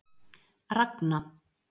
Ragna